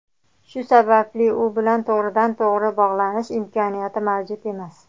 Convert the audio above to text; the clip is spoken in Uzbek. Shu sababli u bilan to‘g‘ridan-to‘g‘ri bog‘lanish imkoniyati mavjud emas.